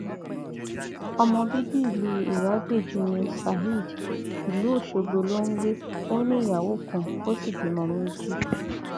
ọmọ bíbí ìlú iragbéjì ní saheed ìlú ọṣọgbó ló ń gbé ó ní ìyàwó kan ó sì bímọ méjì